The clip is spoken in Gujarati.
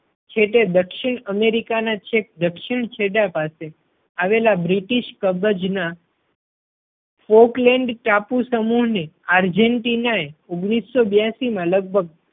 છેટે દક્ષિણ અમેરિકા ના છેક દક્ષિણ છેડા પાસે આવેલા બ્રિટિશ ના folkland ટાપુસમૂહ ને આર જેન ટીના એ